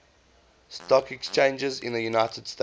stock exchanges in the united states